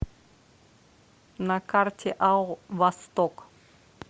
на карте ао восток